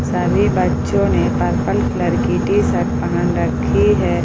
सभी बच्चों ने पर्पल कलर की टी शर्ट पहन रखी है।